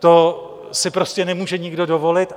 To si prostě nemůže nikdo dovolit.